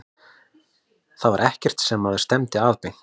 Þetta var ekkert sem maður stefndi að beint.